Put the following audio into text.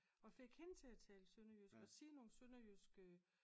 Og fik hende til at tale sønderjysk og sige nogle sønderjyske